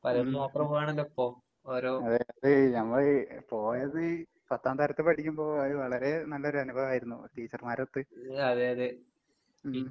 ഉം ഉം. അതേ അത് ഞമ്മള് പോയത് പത്താം തരത്തിപ്പഠിക്കുമ്പൊ പോയത് വളരെ നല്ലൊരനുഭവായിരുന്നു ടീച്ചർമാരൊത്ത്. ഉം